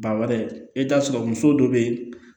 Ba wɛrɛ i bɛ t'a sɔrɔ muso dɔw bɛ yen